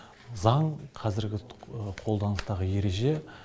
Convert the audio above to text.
заң қазіргі қолданыстағы ереже